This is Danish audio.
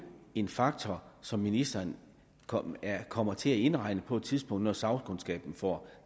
en faktor som ministeren kommer kommer til at indregne på et tidspunkt når sagkundskaben får